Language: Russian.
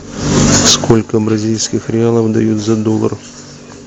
сколько бразильских реалов дают за доллар